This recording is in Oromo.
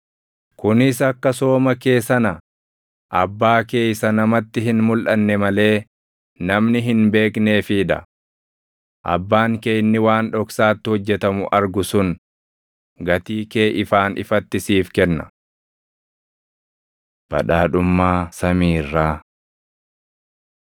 Kunis akka sooma kee sana abbaa kee isa namatti hin mulʼanne malee namni hin beekneefii dha. Abbaan kee inni waan dhoksaatti hojjetamu argu sun gatii kee ifaan ifatti siif kenna. Badhaadhummaa Samii Irraa 6:22‑23 kwf – Luq 11:34‑36